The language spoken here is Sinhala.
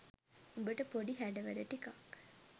උඹට පොඩි හැඩ වැඩ ටිකක්